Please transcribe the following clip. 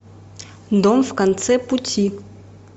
дом в конце пути